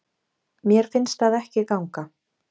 Mér finnst það ekki ganga.